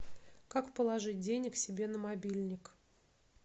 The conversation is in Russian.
как положить денег себе на мобильник